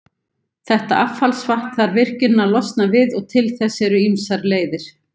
Þetta affallsvatn þarf virkjunin að losna við, og til þess eru ýmsar leiðir.